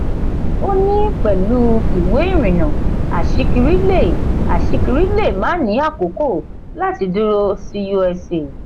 ó ní pẹ̀lú ìwé ìrìnnà aṣíkiri lè aṣíkiri lè má ní àkókò láti dúró sí usa.